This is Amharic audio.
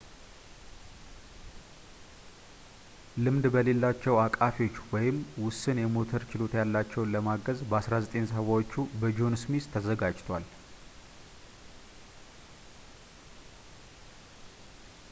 ልምድ በሌላቸው አቃፊዎች ወይም ውስን የሞተር ችሎታ ያላቸውን ለማገዝ በ 1970 ዎቹ በጆን ስሚዝ ተዘጋጅቷል